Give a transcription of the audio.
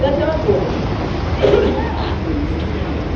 É aquela coisa (tosse com escarro)